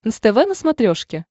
нств на смотрешке